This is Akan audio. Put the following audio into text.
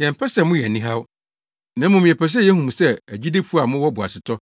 Yɛmpɛ sɛ moyɛ anihaw. Na mmom, yɛpɛ sɛ yehu mo sɛ agyidifo a mowɔ boasetɔ